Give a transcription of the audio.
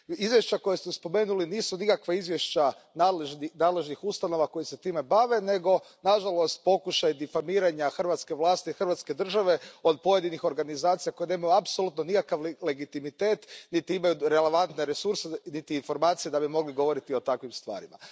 Izvješća koja ste spomenuli nisu nikakva izvješća nadležnih ustanova koje se time bave, nego, nažalost, pokušaj difamiranja hrvatske vlasti i hrvatske države od pojedinih organizacija koje nemaju apsolutno nikakav legitimitet niti imaju relevantne resurse niti informacije da bi mogli govoriti o takvim stvarima.